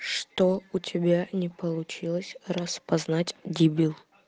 что у тебя не получилось распознать дебил